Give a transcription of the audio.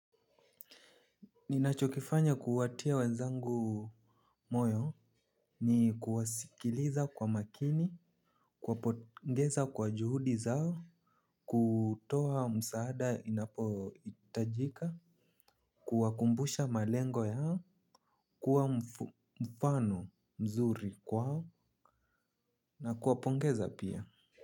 Ninachokifanya kuwatia wenzangu moyo, ni kuwasikiliza kwa makini, kuwapongeza kwa juhudi zao, kutoa msaada inapohitajika, kuwakumbusha malengo yao, kuwa mfano mzuri kwao, na kuwapongeza pia.